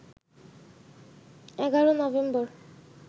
১১ November